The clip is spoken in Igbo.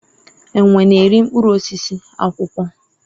enwe na-eri mkpụrụ osisi, akwụkwọ